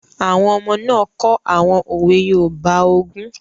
Àwọn ọmọ náà kọ àwọn òwe yoòbá ogún